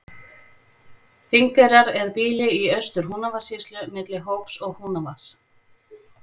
Þingeyrar er býli í Austur-Húnavatnssýslu milli Hóps og Húnavatns.